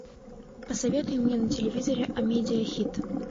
посоветуй мне на телевизоре амедиа хит